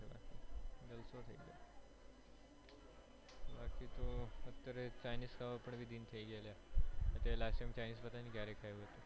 અત્યારે chinese ખાવાં ને પણ દિન થઇ ગયા અલ્યા ત્યારે last time chinese ક્યારે ખાધું હતું